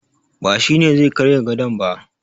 Ba shi ne zai karyan gadon ba